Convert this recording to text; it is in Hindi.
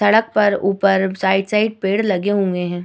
सड़क पर ऊपर साइड साइड पेड़ लगे हुए हैं।